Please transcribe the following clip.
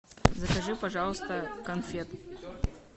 закажи пожалуйста конфет